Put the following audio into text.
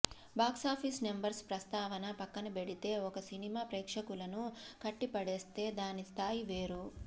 box office numbers ప్రస్తావన పక్కనబెడితే ఒక సినిమా ప్రేక్షకులను కట్టిపడేస్తే దాని స్థాయి వేరు